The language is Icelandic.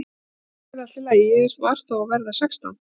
Kannski var það allt í lagi, ég var þó að verða sextán.